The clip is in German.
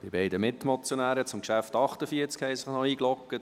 Die beiden Mitmotionäre zum Traktandum 48 haben sich noch miteingeloggt.